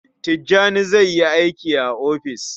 Tijjani zai yi aiki a ofis.